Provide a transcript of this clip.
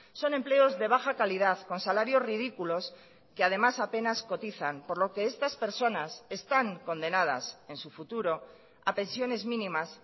son empleos de baja calidad con salarios ridículos que además apenas cotizan por lo que estas personas están condenadas en su futuro a pensiones mínimas